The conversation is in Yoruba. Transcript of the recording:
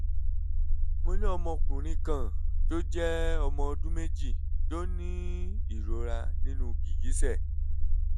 mo ní ọmọkùnrin kan tó jẹ́ ọmọ ọdún méjì tó ń ní ìròra nínú gìgísẹ̀